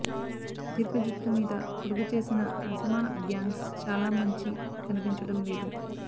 దీర్ఘ జుట్టు మీద పొడుగుచేసిన అసమాన బ్యాంగ్స్ చాలా మంచి కనిపించడం లేదు